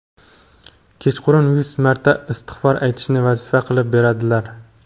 kechqurun yuz marta istig‘for aytishni vazifa qilib beradilar.